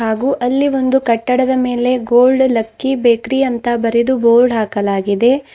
ಹಾಗು ಅಲ್ಲಿ ಒಂದು ಕಟ್ಟಡದ ಮೇಲೆ ಗೋಲ್ಡ್ ಲಕ್ಕಿ ಬೇಕರಿ ಅಂತ ಬರೆದು ಬೋರ್ಡ್ ಹಾಕಲಾಗಿದೆ.